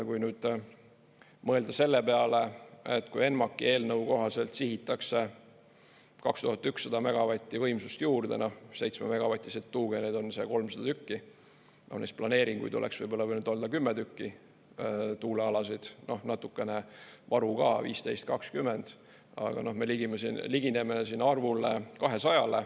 Kui nüüd mõelda selle peale, et kui ENMAK-i eelnõu kohaselt sihitakse 2100 megavatti võimsust juurde, 7-megavatiseid tuugeneid on see 300 tükki, neist planeeringuid oleks võib-olla võinud olla kümme tükki, tuulealasid, natukene varu ka, 15–20 tükki, aga me ligineme arvule 200.